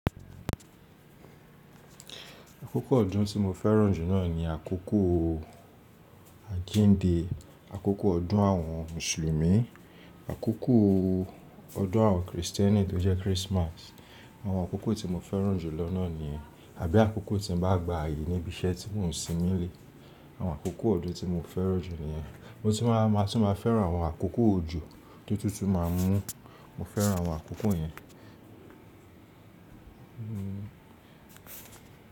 Àkókò ọdún tí mo fẹ́ràn jù náà ni àkókò àjínde, àkókò ọdún àwọn mùsùlùmí, àkókò ọdún àwọn Kristẹni tó jẹ́ Christmas. Àwọn àkókò tí mo fẹ́ràn jù lọ́ nà niyen, àbí àkókò tí mo bá gba ààyè níbi iṣẹ́ tí mò ń sin nílé. Àwọn àkókò ọdún tí mo fẹ́ràn jù niyen. Mo sì máa, màá tún máa fẹ́ràn àwọn àkókò òjò ti ótútú má a mú. Mo fẹ́ràn àwọn àkókò yẹn.